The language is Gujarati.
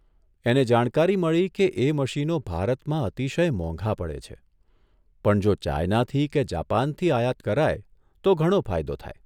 એને જાણકારી મળી કે એ મશીનો ભારતમાં અતિશય મોંઘા પડે છે, પણ જો ચાઈનાથી કે જાપાનથી આયાત કરાય તો ઘણો ફાયદો થાય.